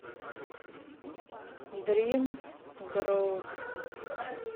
дрим груп